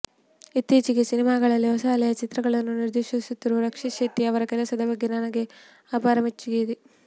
ಇತ್ತೀಚಿನ ಸಿನಿಮಾಗಳಲ್ಲಿ ಹೊಸ ಅಲೆಯ ಚಿತ್ರಗಳನ್ನು ನಿರ್ದೇಶಿಸುತ್ತಿರುವ ರಕ್ಷಿತ್ ಶೆಟ್ಟಿ ಅವರ ಕೆಲಸದ ಬಗ್ಗೆ ನನಗೆ ಅಪಾರ ಮೆಚ್ಚುಗೆಯಿದೆ